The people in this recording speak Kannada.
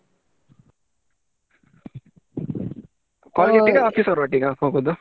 College ಅವರೊಟ್ಟಿಗಾ office ಅವರೊಟ್ಟಿಗಾ ಹೋಗುದು.